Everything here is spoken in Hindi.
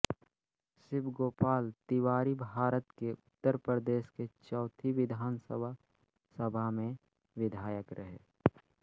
शिव गोपाल तिवारीभारत के उत्तर प्रदेश की चौथी विधानसभा सभा में विधायक रहे